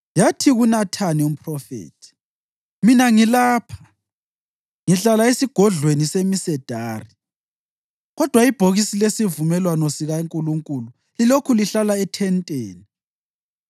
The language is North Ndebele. yathi kuNathani umphrofethi, “Mina ngilapha, ngihlala esigodlweni semsedari, kodwa ibhokisi lesivumelwano sikaNkulunkulu lilokhu lihlala ethenteni.”